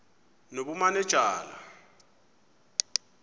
nobumanejala